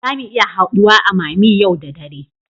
Zamu iya haduwa a mammy yau da dare